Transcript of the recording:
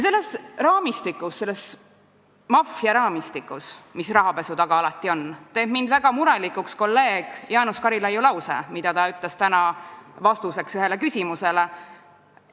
Selles raamistikus, selles maffiaraamistikus, mis rahapesu taga alati on, teeb mind väga murelikuks kolleeg Jaanus Karilaidi lause, mida ta ütles täna vastuseks ühele küsimusele.